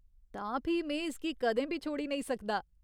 तां फ्ही, में इसगी कदें बी छोड़ी नेईं सकदा।